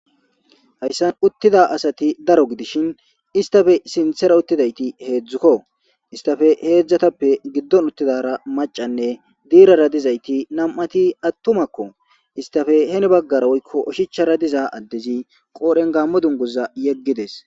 Hayssan uttida asati daro gidishin istafe sinthera uttidayti heedzdzukko istafe heedzdzatappe giddon uttidara macanne diirara dizayti nam7ati attumakko istafe heni baggara woykko oshichara diza addezi qoodhen gammo dunguza yeggides.